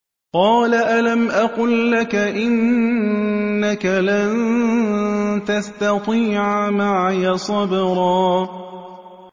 ۞ قَالَ أَلَمْ أَقُل لَّكَ إِنَّكَ لَن تَسْتَطِيعَ مَعِيَ صَبْرًا